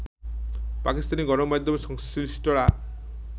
পাকিস্তানি গণমাধ্যম সংশ্লিষ্টরা